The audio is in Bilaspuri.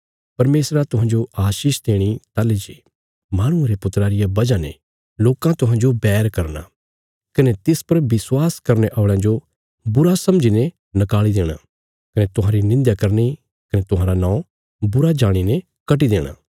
परमेशरा तुहांजो आशीष देणी ताहली जे माहणुये रे पुत्रा रिया वजह ने लोकां तुहांजो बैर करना कने तिस पर विश्वास करने औल़यां जो बुरा समझीने नकाल़ी देणा कने तुहांरी निंध्या करनी कने तुहांरा नौं बुरा जाणीने कटी देणा